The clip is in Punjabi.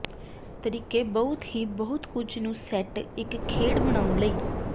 ਤਰੀਕੇ ਬਹੁਤ ਹੀ ਬਹੁਤ ਕੁਝ ਨੂੰ ਸੈੱਟ ਇੱਕ ਖੇਡ ਬਣਾਉਣ ਲਈ